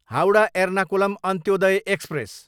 Howrah, Ernakulam Antyodaya express